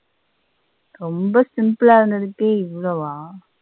ரொம்ப simple ல இருந்ததுக்கே இவளவ.